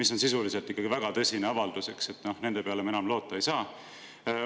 See on ikkagi väga tõsine avaldus, eks, et nende peale me enam loota ei saa.